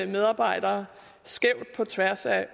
medarbejdere skævt på tværs af